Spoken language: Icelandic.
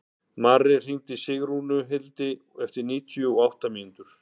Marri, hringdu í Sigrúnhildi eftir níutíu og átta mínútur.